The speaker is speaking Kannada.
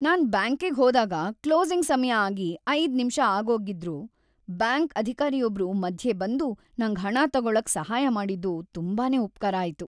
ನಾನ್ ಬ್ಯಾಂಕಿಗ್ ಹೋದಾಗ ಕ್ಲೋಸಿಂಗ್‌ ಸಮಯ ಆಗಿ ೫ ನಿಮ್ಷ ಆಗೋಗಿದ್ರೂ ಬ್ಯಾಂಕ್‌ ಅಧಿಕಾರಿಯೊಬ್ರು ಮಧ್ಯೆ ಬಂದು ನಂಗ್ ಹಣ ತಗೊಳಕ್ ಸಹಾಯ ಮಾಡಿದ್ದು ತುಂಬಾನೇ ಉಪ್ಕಾರ ಆಯ್ತು.